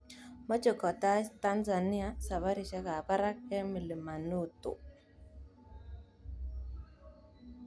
Mt Kilimanjaro: Meche kotai Tanzania safarisiek ab parak eng milamanoto.